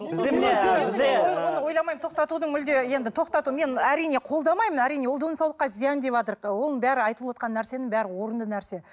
тоқтатудың мүлде енді тоқтату мен әрине қолдамаймын әрине ол денсаулыққа зиян оның бәрінің айтылыватқан нәрсенің бәрі орынды нәрсе